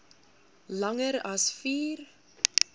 langer as vier